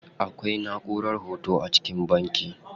Akwai naʼurar hoto a cikin banki.